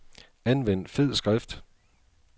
Anvend fed skrift.